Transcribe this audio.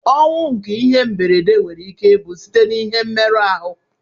Ọnwụ nke ihe mberede nwere ike ibu site na ihe mmerụ arụ.